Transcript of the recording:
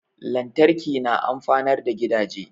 Lantarki na amfanar gidaje